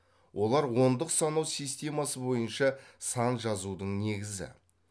олар ондық санау системасы бойынша сан жазудың негізі